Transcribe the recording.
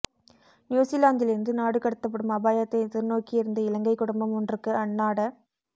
நியூசிலாந்திலிருந்து நாடு கடத்தப்படும் அபாயத்தை எதிர்நோக்கியிருந்த இலங்கை குடும்பம் ஒன்றுக்கு அந்நாட